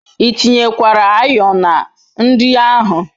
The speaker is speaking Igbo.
I tinyekwara ayo na nri ahu